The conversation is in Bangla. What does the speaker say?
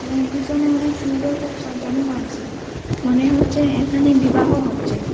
এবং পিছনে অনেক সুন্দর করে সাজানো হয়েছে মনে হচ্ছে এখানে বিবাহ হচ্ছে।